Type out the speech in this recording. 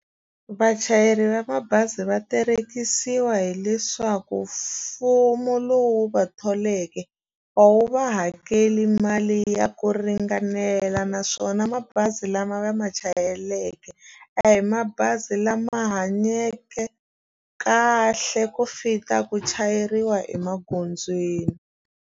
Vachayeri va mabazi va terekisiwa hileswaku mfumo lowu va tholeke a wu va hakeli mali ya ku ringanela naswona mabazi lama va ma chayeleke a hi mabazi lama hanyeke kahle ku fita ku chayeriwa emagondzweni.